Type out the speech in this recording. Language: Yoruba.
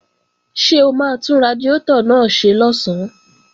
Ṣé o máa tún radiátọ̀ náà ṣe lọ̀sán?